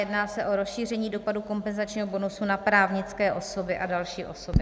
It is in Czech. Jedná se o rozšíření dopadu kompenzačního bonusu na právnické osoby a další osoby.